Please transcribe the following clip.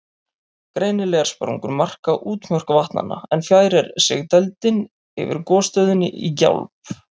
Greinilegar sprungur marka útmörk vatnanna, en fjær er sigdældin yfir gosstöðinni í Gjálp.